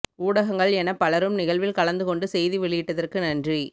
ஊடகங்கள் எனப் பலரும் நிகழ்வில் கலந்து கொண்டு செய்தி வெளியிட்டதற்கு நன்றி